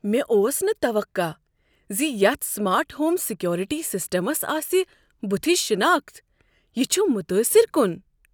مےٚ اوس نہٕ توقع زِ یتھ سمارٹ ہوم سیکورٹی سسٹمس آسِہ بُتھِچ شناخت۔ یِہ چھ متٲثر کُن ۔